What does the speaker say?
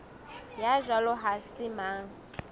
ya jwalo ha se mang